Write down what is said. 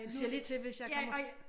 Du siger lige til hvis jeg kommer